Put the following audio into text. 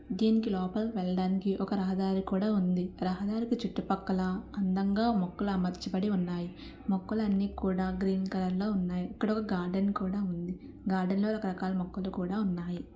దీనికి లోపలికి వెళ్లడానికి ఒక రహదారి కూడా ఉంది. రహదారికి చుట్టుపక్కల అందంగా మొక్కలు అమర్చబడి ఉన్నాయి. మొక్కలన్ని కూడా గ్రీన్ కలర్ లో ఉన్నాయి . ఇక్కడ ఒక గార్డెన్ కూడా ఉంది. గార్డెన్ లో రకరకాల మొక్కలు కూడా ఉన్నాయి.